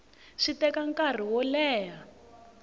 swi teka nkarhi wo leha